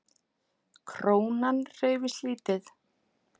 Krónan hreyfist lítið